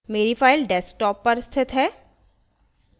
मेरी file desktop पर स्थित है